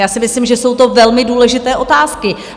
Já si myslím, že jsou to velmi důležité otázky.